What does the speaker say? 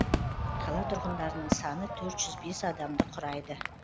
қала тұрғындарының саны төрт жүз бес адамды құрайды